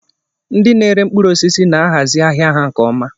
Ndị na-ere mkpụrụ osisi na-ahazi ahia ha nke ọma.